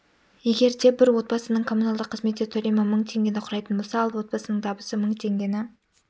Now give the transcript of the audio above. егер де бір отбасының коммуналдық қызметтер төлемі мың теңгені құрайтын болса ал отбасының табысы мың теңгені